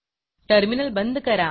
terminal बंद करा